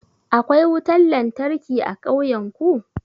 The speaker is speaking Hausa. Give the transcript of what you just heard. Akwai wutan lantarki a ƙauyan ku?